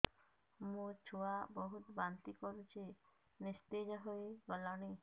ମୋ ଛୁଆ ବହୁତ୍ ବାନ୍ତି କରୁଛି ନିସ୍ତେଜ ହେଇ ଗଲାନି